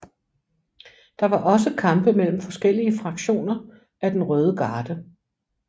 Der var også kampe mellem forskellige fraktioner af den røde garde